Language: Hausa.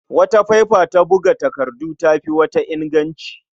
Wata faifa ta buga takardu ta fi wata inganci.